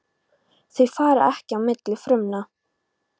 Þau fara ekki á milli frumna.